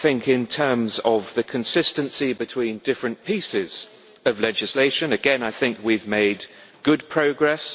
In terms of the consistency between different pieces of legislation, I think we have made good progress.